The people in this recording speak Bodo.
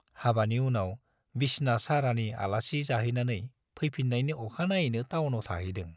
हाबानि उनाव बिसना सारानि आलासि जाहैनानै फैफिन्नायनि अखानायैनो टाउनाव थाहैदों।